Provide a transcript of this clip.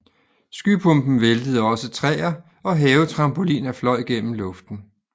Skypumpen væltede også træer og havetrampoliner fløj gennem luften